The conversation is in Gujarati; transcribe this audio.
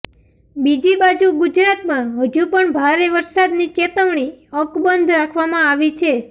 બીજી બાજુ ગુજરાતમાં હજુ પણ ભારે વરસાદની ચેતવણી અકબંધ રાખવામાં આવી છે